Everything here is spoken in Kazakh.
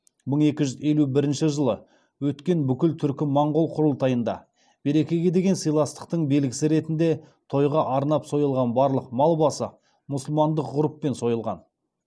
мың екі жүз елу бірінші жылы өткен бүкіл түркі моңғол құрылтайында беркеге деген сыйластықтың белгісі ретінде тойға арнап сойылған барлық мал басы мұсылмандық ғұрыппен сойылған